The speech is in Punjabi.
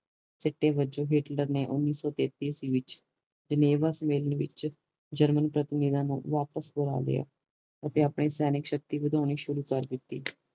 ਸਿੱਟੇ ਵਜੋਂ ਹਿਟਲਰ ਨੇ ਓਨੀ ਸੋ ਤੇਤੀ ਈਸਵੀ ਚ ਜੁਨੇਵਾ ਸੁਮੇਲ ਨੂੰ ਵਿਚ ਜਰਮਨ ਤੋਂ ਮਿਲਣ ਵਾਪਿਸ ਬੁਲਾ ਲਿਆ ਅਤੇ ਆਪਣੀ ਸੈਨਿਕ ਸ਼ਕਤੀ ਵਧਾਉਣੀ ਸ਼ੁਰੂ ਕਰ ਦਿਤੀ